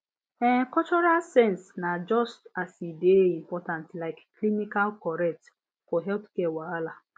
ehn cultural sense na just as e dey important like clinical correct for healthcare wahala